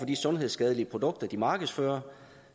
de sundhedsskadelige produkter de markedsfører